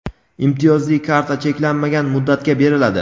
imtiyozli karta cheklanmagan muddatga beriladi.